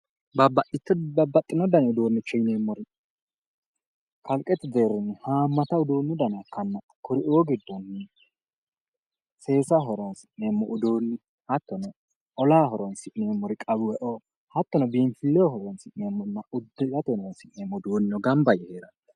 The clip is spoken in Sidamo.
Babbbaxxino dani uduunnicho yineemmori kalqete deerrinni haammata uduunnu dana ikkanna kuri"u giddono seesaho horonsi'neemmo uduunni hattono olaho horonsi'neemmori qawwe"o hattono biinfilleho horonsi'neemmori uddirate horonsi'neemmo uduunnino gamba yee heeranno